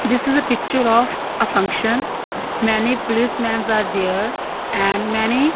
this is the picture of a function many police mans are there and many --